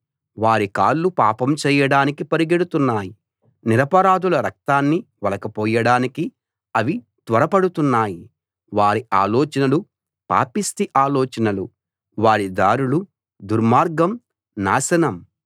వారి కాళ్లు పాపం చేయడానికి పరుగెడుతున్నాయి నిరపరాధుల రక్తాన్ని ఒలకపోయడానికి అవి త్వరపడుతున్నాయి వారి ఆలోచనలు పాపిష్టి ఆలోచనలు వారి దారులు దుర్మార్గం నాశనం